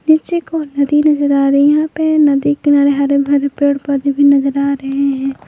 पीछे की ओर नदी नजर आ रही है यहां पे नदी किनारे हरे भरे पेड़ पौधे नजर आ रहे हैं।